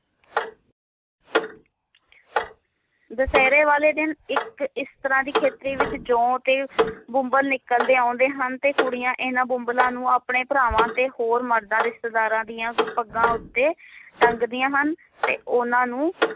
ਦੁਸ਼ਹਿਰੇ ਵਾਲੇ ਦਿਨ ਇਕ ਇਸ ਤਰਾਹ ਦੀ ਖੇਤਰੀ ਵਿਚ ਜੌ ਤੇ ਬੁਮਬਲ ਨਿਕਲਦੇ ਆਉਂਦੇ ਹਨ ਤੇ ਕੁੜੀਆਂ ਇਹਨਾਂ ਬੁਮਬਲਾਂ ਨੂੰ ਆਪਣੇ ਭਰਾਵਾਂ ਤੇ ਹੋਰ ਮਰਦਾਂ ਰਿਸ਼ਤੇਦਾਰਾਂ ਦੀਆਂ ਪੱਗਾਂ ਉੱਤੇ ਟੰਗਦਿਆਂ ਹਨ ਤੇ ਉਹਨਾਂ ਨੂੰ